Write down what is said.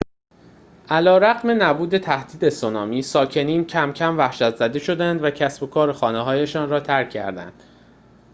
علیرغم نبود تهدید سونامی ساکنین کم‌کم وحشت‌زده شدند و کسب و کار و خانه‌هایشان را ترک کردند